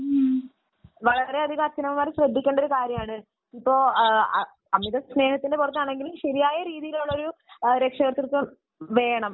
വളരെ അധികം അച്ഛനമ്മമാർ ശ്രദ്ധിക്കേണ്ട ഒരു കാര്യമാണ് . അമിത സ്നേഹത്തിന്റെ പുറത്താണെങ്കിലും ശരിയായ രീതിയിലുള്ള ഒരു രക്ഷകർതൃത്വം വേണം